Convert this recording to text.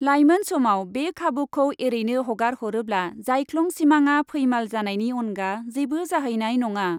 लाइमोन समाव बे खाबुखौ एरैनो हगारहरोब्ला जाइख्लं सिमाङा फैमाल जानायनि अनगा जेबो जाहैनाय नङा।